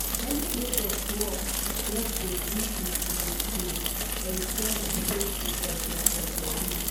“any place of work get a duty to um ensure di safety of dia employees.